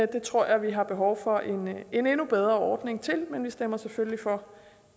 det tror jeg vi har behov for en endnu bedre ordning til men vi stemmer selvfølgelig for